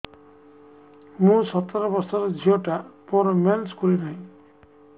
ମୁ ସତର ବର୍ଷର ଝିଅ ଟା ମୋର ମେନ୍ସେସ ଖୁଲି ନାହିଁ